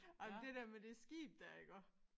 Ej men det der med det skib der iggå